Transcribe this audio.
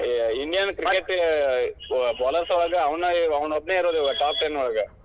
Indian cricket bowlers ಒಳಗ ಅವ್ನಾ ಅವನೊಬ್ಬನೇ ಇರೋದ್ top ten ಒಳಗ .